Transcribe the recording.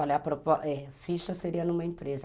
Eu falo é, a ficha seria numa empresa.